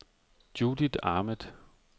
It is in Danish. Judith Ahmed